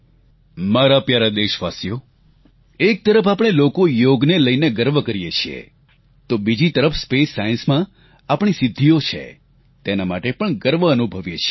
મારા પ્યારા દેશાવાસીઓ એક તરફ આપણે લોકો યોગને લઈને ગર્વ કરીએ છીએ તો બીજી તરફ સ્પેસસાયન્સમાં આપણી સિદ્ધિઓ છે તેના માટે પણ ગર્વ અનુભવીએ છીએ